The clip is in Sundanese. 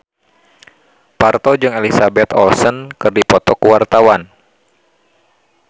Parto jeung Elizabeth Olsen keur dipoto ku wartawan